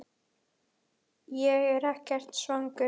Ég er ekkert svangur